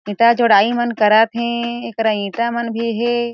ईटा जोड़ाई मन करत हे एकरा ईटा मन में भी हे।